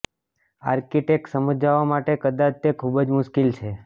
architects સમજાવવા માટે કદાચ તે ખૂબ જ મુશ્કેલ છે